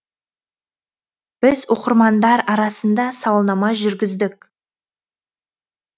біз оқырмандар арасында сауалнама жүргіздік